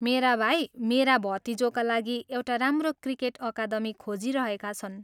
मेरा भाइ मेरा भतिजोका लागि एउटा राम्रो क्रिकेट अकादमी खोजिरहेका छन्।